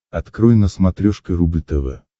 открой на смотрешке рубль тв